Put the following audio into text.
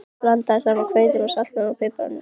Blandið saman hveitinu, saltinu og piparnum á disk.